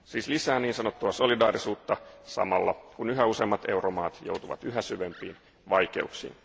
Siis lisää niin sanottua solidaarisuutta samalla, kun yhä useammat euromaat joutuvat yhä syvempiin vaikeuksiin.